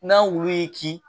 N'a wulu y'i kin